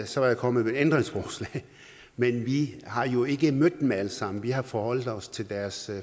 så var jeg kommet med ændringsforslag men vi har jo ikke mødt dem alle sammen vi har forholdt os til deres